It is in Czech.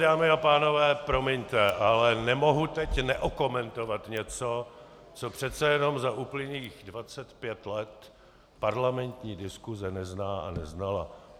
Dámy a pánové, promiňte, ale nemohu teď neokomentovat něco, co přece jenom za uplynulých 25 let parlamentní diskuse nezná a neznala.